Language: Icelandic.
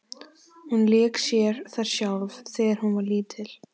Hún lék sér þar sjálf þegar hún var lítil.